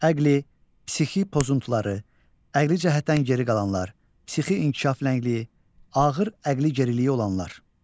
Əqli, psixi pozuntuları, əqli cəhətdən geri qalanlar, psixi inkişaf ləngliyi, ağır əqli geriliyi olanlar.